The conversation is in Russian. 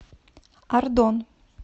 ардон